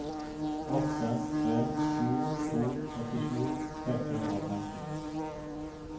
åtte tre sju to åttisju seks hundre og femten